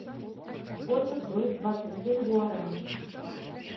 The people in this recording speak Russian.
сколько стоит двадцать семь гуараней